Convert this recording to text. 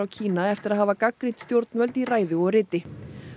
Kína eftir að hafa gagnrýnt stjórnvöld í ræðu og riti